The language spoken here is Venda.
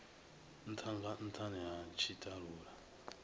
ntha nga nthani ha tshitalula